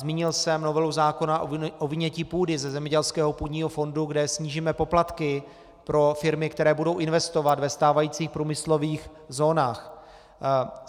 Zmínil jsem novelu zákona o vynětí půdy ze zemědělského půdního fondu, kde snížíme poplatky pro firmy, které budou investovat ve stávajících průmyslových zónách.